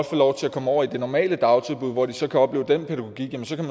få lov til at komme over i det normale dagtilbud hvor de selv kan opleve den pædagogik jamen så kan